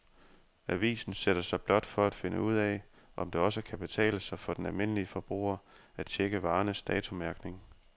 Avisen sætter sig blot for at finde ud af, om det også kan betale sig for den almindelige forbruger at checke varernes datomærkning.